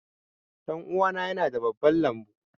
Ɗanuwana yana da babban lambu.